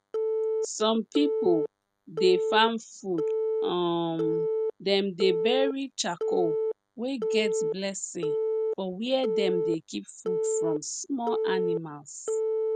some pipo dey farm food um dem dey bury charcoal wey get blessing for where dem dey keep food from small animals